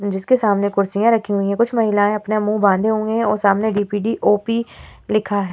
जिसके सामने कुर्सियां रखी हुई हैं कुछ महिलाएं अपना मुँह बाँधे हुए है और सामने डी.पी.डी ओ.पी लिखा है।